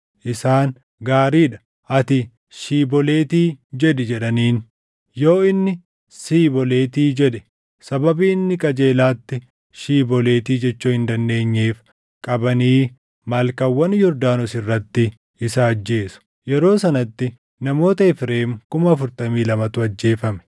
isaan, “Gaarii dha; ati, ‘Shiiboleeti’ jedhi” jedhaniin. Yoo inni, “Siiboleeti” jedhe, sababii inni qajeelatti “Shiiboleeti” jechuu hin dandeenyeef qabanii malkaawwan Yordaanos irratti isa ajjeesu. Yeroo sanatti namoota Efreem kuma afurtamii lamatu ajjeefame.